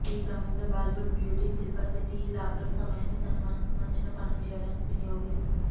ఈ క్రమంలో బాలీవుడ్ బ్యూటీ శిల్పా శెట్టి ఈ లాక్డౌన్ సమయాన్ని తన మనసుకు నచ్చిన పనులు చేయడానికి వినియోగిస్తోంది